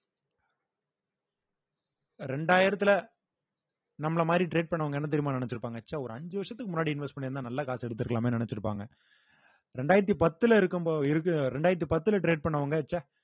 இரண்டாயிரத்துல நம்மள மாதிரி trade பண்ணவங்க என்ன தெரியுமா நினைச்சிருப்பாங்க ச்ச ஒரு அஞ்சு வருஷத்துக்கு முன்னாடி invest பண்ணிருந்தா நல்ல காசை எடுத்துருக்கலாமேன்னு நினைச்சிருப்பாங்க ரெண்டாயிரத்தி பத்துல இருக்கும் போ~ இருக்க~ ரெண்டாயிரத்தி பத்துல trade பண்ணவங்க ச்ச